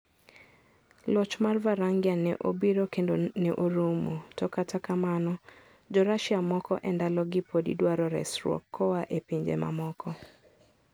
Loch mar Varangian ne obiro kendo ne orumo, to kata kamano, Jo-Russia moko e ndalogi podi dwaro resruok koa e pinje mamoko.